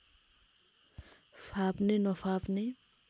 फाप्ने नफाप्ने